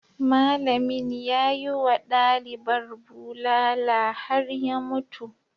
Malamin ya yi wa dalibar bulala har ya mutu.